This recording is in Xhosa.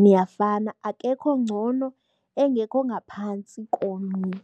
niyafana. Akekho ongcono engekho ongaphantsi komnye.